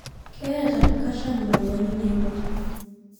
Ketaa kasham mauani naibor